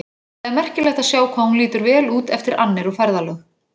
Það er merkilegt að sjá hvað hún lítur vel út eftir annir og ferðalög.